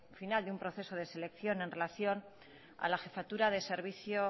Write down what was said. final de un proceso de selección en relación a la jefatura de servicio